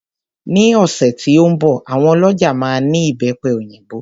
Ní ọ̀sẹ̀ tí ó ń bọ̀ àwọn ọlọ́ja máa ní Ìbẹ́pe òyìnbó.